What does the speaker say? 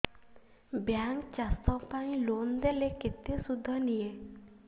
bank ଚାଷ ପାଇଁ loan ଦେଲେ କେତେ ସୁଧ ନିଏ